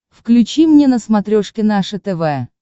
включи мне на смотрешке наше тв